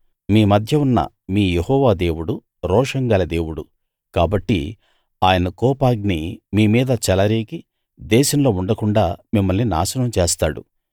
మీ మధ్య ఉన్న మీ యెహోవా దేవుడు రోషం గల దేవుడు కాబట్టి ఆయన కోపాగ్ని మీ మీద చెలరేగి దేశంలో ఉండకుండాా మిమ్మల్ని నాశనం చేస్తాడు